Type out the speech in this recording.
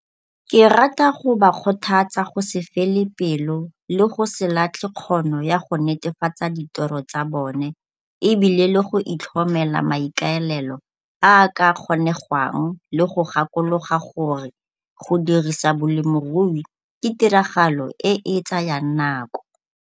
Ke rata go ba kgothatsa go se fele pelo le go se latlhe kgono ya go netefatsa ditoro tsa bone e bile le go itlhomela maikaelelo a a ka kgonegwang le go gakologa gore go dirisa bolemirui ke tiragalo e e tsayang nako.